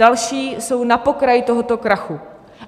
Další jsou na pokraji tohoto krachu.